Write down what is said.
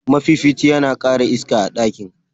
mafifici yana kara iska a ɗakin.